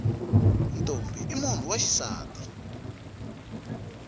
ntombhi i munhu wa xisati